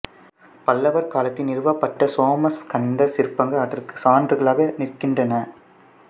பல்லவர் காலத்தின் நிறுவப்பட்ட சோமஸ்கந்தர் சிற்பங்கள் அதற்கு சான்றுகளாக நிற்கின்றன